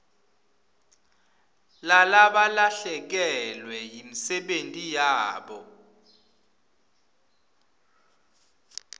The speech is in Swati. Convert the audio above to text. lalabalahlekelwe yimisebenti yabo